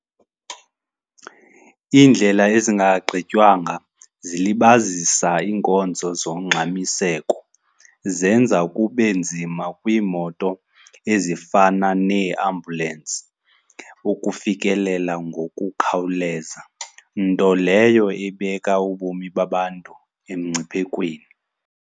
Iindlela ezingagqitywanga zilibazisa iinkonzo zongxamiseko. Zenza kube nzima kwiimoto ezifana neeambulensi ukufikelela ngokukhawuleza, nto leyo ebeka ubomi babantu emngciphekweni.